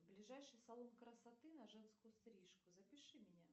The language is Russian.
ближайший салон красоты на женскую стрижку запиши меня